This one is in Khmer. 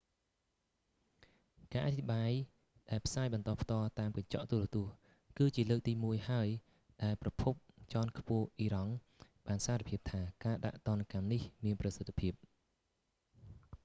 ការអត្ថាធិប្បាយ ដែលផ្សាយបន្តផ្ទាល់តាមកញ្ចក់ទូរទស្សន៍ គឺជាលើកទីមួយហើយដែលប្រភពជាន់ខ្ពស់អ៊ីរ៉ង់បានសារភាពថា ការដាក់ទណ្ឌកម្មនេះមានប្រសិទ្ធភាព